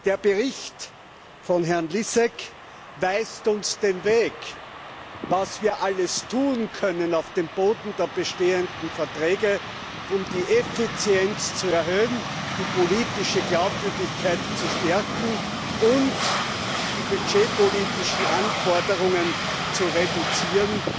Der Bericht von Herrn Lisek weist uns den Weg, was wir alles tun können auf dem Boden der bestehenden Verträge, um die Effizienz zu erhöhen, die politische Glaubwürdigkeit zu stärken und die budgetpolitischen Anforderungen zu reduzieren,